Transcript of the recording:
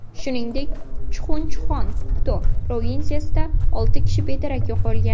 Shuningdek, Chuxunchuxon-Pukto provinsiyasida olti kishi bedarak yo‘qolgan.